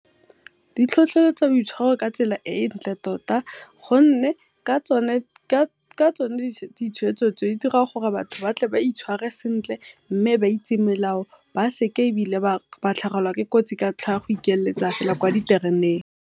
Ditlhotlheletsa boitshwaro ka tsela e ntle tota gonne ka tsone ditshwetso tseo, di dira gore batho ba tle ba itshware sentle mme ba itse melao, ba seke ebile ba tlhagelwa ke kotsi ka ntlha ya go ikeletsa fela kwa ditereneng.